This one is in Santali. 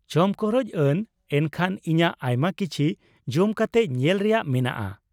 ᱪᱚᱢᱠᱚᱨᱚᱡ ᱟᱱ, ᱮᱱᱠᱷᱟᱱ ᱤᱧᱟᱹᱜ ᱟᱭᱢᱟ ᱠᱤᱪᱷᱤ ᱡᱚᱢ ᱠᱟᱛᱮ ᱧᱮᱞ ᱨᱮᱭᱟᱜ ᱢᱮᱱᱟᱜᱼᱟ ᱾